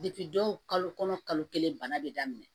dɔw kalo kɔnɔ kalo kelen bana bɛ daminɛ